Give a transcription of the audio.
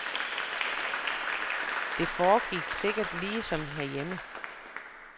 Det foregik sikkert lige som herhjemme.